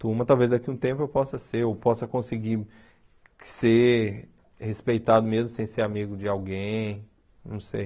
Turma, talvez daqui a um tempo eu possa ser, ou possa conseguir ser respeitado mesmo sem ser amigo de alguém, não sei.